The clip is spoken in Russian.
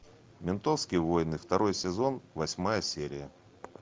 ментовские войны второй сезон восьмая серия